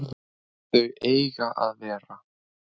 Þau eiga að vera